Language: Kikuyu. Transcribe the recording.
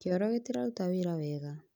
Kĩoro gĩtiraruta wĩra wega